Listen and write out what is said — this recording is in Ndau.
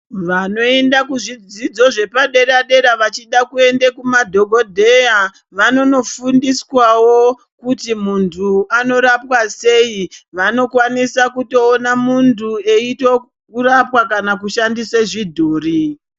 Vanoenda kuzvidzidzo zvepadera dera vachida kuenda kumadhokodheya vanon ofundiswawo kuti munhu unorapwa sei. Vano kwanisawo kutoona munhu eitorapwa kana kushandisa chidhori.